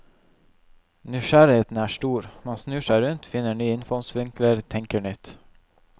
Nysgjerrigheten er stor, man snur seg rundt, finner nye innfallsvinkler, tenker nytt.